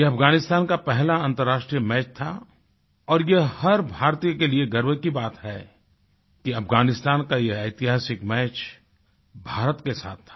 यह अफगानिस्तान का पहला अन्तर्राष्ट्रीय मैच था और यह हर भारतीय के लिए गर्व की बात है कि अफगानिस्तान का यह ऐतिहासिक मैच भारत के साथ था